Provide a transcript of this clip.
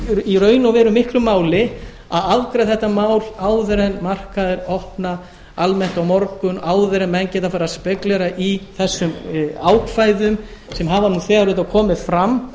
í raun og veru miklu máli að afgreiða þetta mál áður en markaðir opna almennt á morgun áður en menn geta farið að spekúlera í þessum ákvæðum sem hafa nú þegar auðvitað komið fram